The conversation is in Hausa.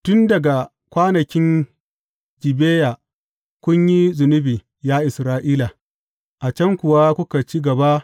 Tun daga kwanakin Gibeya, kun yi zunubi, ya Isra’ila, a can kuwa kuka ci gaba.